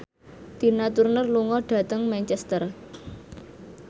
Tina Turner lunga dhateng Manchester